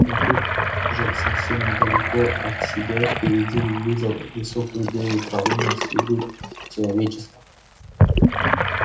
но тут же совсем недалеко от себя впереди увидел высокую белую траву на следу человеческом